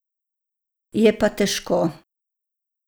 Je pa težko.